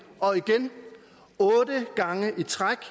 otte gange i træk